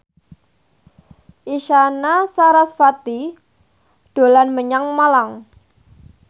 Isyana Sarasvati dolan menyang Malang